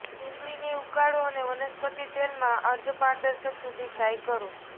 ડુંગળીને ઉકાળો અને વનસ્પતિ તેલમાં અર્ધપારદર્શક સુધી તે ફ્રાય કરો